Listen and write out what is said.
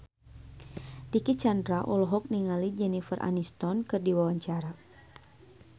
Dicky Chandra olohok ningali Jennifer Aniston keur diwawancara